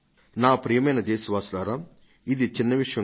ప్రియమైన నా దేశ వాసులారా ఇది చిన్న విషయం ఏమీ కాదు